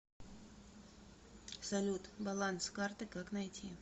салют баланс карты как найти